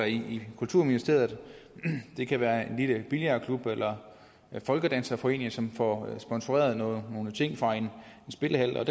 i kulturministeriet det kan være en lille billardklub eller folkedanserforeninger som får sponsoreret nogle nogle ting fra en spillehal og